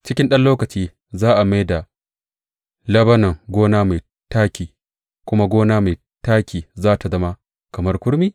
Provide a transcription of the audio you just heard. Cikin ɗan lokaci, za a mai da Lebanon gona mai taƙi kuma gona mai taƙi za tă zama kamar kurmi?